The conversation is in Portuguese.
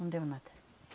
Não deu nada.